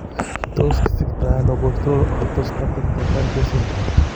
Tos kisiktoono postural orthostatic tachycardia syndrome